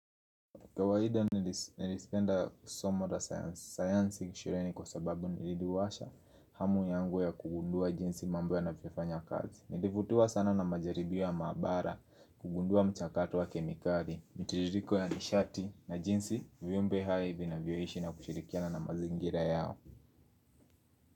Kawaida nilipenda kusoma hata sayansi, sayansi nilisheheni kwa sababu iliniduwasha hamu yangu ya kugundua jinsi mambo yanavyofanya kazi Nilivutiwa sana na majaribio ya mahabara, kugundua mchakato wa kemikali, mitiririko ya nishati na jinsi, viumbe hai vinavyoishi na kushirikiana na mazingira yao.